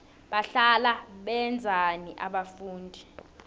bahlala benzani abafundi